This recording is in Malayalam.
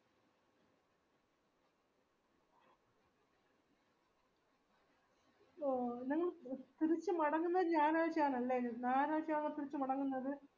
ഓ നിങ്ങൾ ഒ തിരിച് മടങ്ങുന്നത് ഞാറാഴ്ച ആണല്ലേ ഞാറാഴ്ച ആവുമ്പൊ തിരിച് മടങ്ങുന്നത്